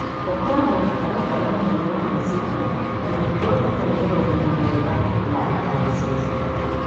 ũkoragwo mũtaratara mũnene wa meciria na mĩtugo ĩtarĩ ya ũgima mwega na ĩtagĩcenjeka.